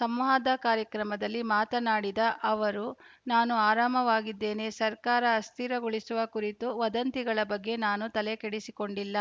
ಸಂವಾದ ಕಾರ್ಯಕ್ರಮದಲ್ಲಿ ಮಾತನಾಡಿದ ಅವರು ನಾನು ಆರಾಮವಾಗಿದ್ದೇನೆ ಸರ್ಕಾರ ಅಸ್ಥಿರಗೊಳಿಸುವ ಕುರಿತ ವದಂತಿಗಳ ಬಗ್ಗೆ ನಾನು ತಲೆಕೆಡಿಸಿಕೊಂಡಿಲ್ಲ